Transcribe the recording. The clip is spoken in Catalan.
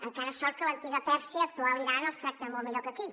encara sort que a l’antiga pèrsia actual iran els tracten molt millor que aquí